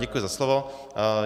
Děkuji za slovo.